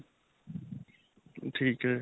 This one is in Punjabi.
ਠੀਕ ਹੈ.